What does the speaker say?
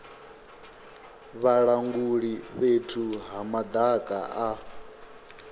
vhalanguli fhethu ha madaka a